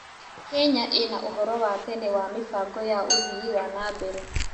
Kenya ĩna ũhoro wa tene wa mĩbango ya ũthii wa na mbere.